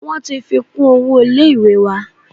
Wọ́n ti fi kún owó ilé ìwé wa.